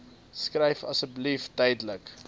skryf asseblief duidelik